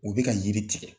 U bɛ ka yiri tigɛ